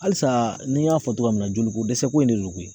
Alisa ni y'a fɔ togoya min na jolikodɛsɛ ko in de don koyi